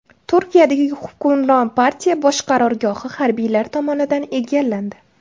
Turkiyadagi hukmron partiya bosh qarorgohi harbiylar tomonidan egallandi.